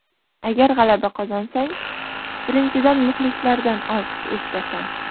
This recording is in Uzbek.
Agar g‘alaba qozonsang, birinchidan, muxlislardan olqish eshitasan.